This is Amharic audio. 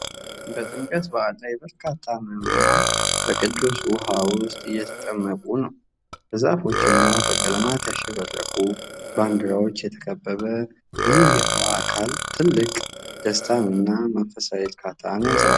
በጥምቀት በዓል ላይ በርካታ ምዕመናን በቅዱስ ውሃ ውስጥ እየተጠመኩ ነው። በዛፎች እና በቀለማት ያሸበረቁ ባንዲራዎች የተከበበው ይህ የውሃ አካል ትልቅ ደስታንና መንፈሳዊ እርካታን ያንፀባርቃል።